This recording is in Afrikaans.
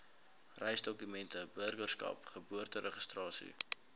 reisdokumente burgerskap geboorteregistrasie